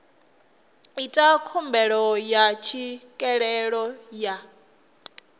ita khumbelo ya tswikelelo ya